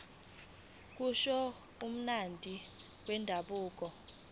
kusho umphathi wendabuko